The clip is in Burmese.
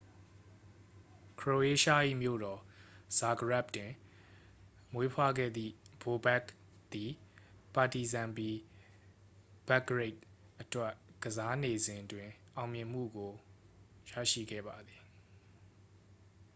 ခရိုအေးရှား၏မြို့တော် ဇာဂရက်ဘ် တွင်မွေးဖွားခဲ့သည် ဘိုဘက်ခ် သည် ပါတီဇန်ပီ ဘဲဘ်ဂရိတ် အတွက် ကစားနေစဉ်တွင် အောင်မြင်မှုကိုရရှိခဲ့ပါသည်